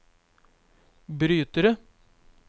brytere